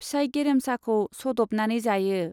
फिसाइ गेरेमसाखौ सद'बनानै जायो।